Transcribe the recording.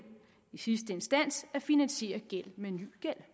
i sidste instans at finansiere gæld med ny gæld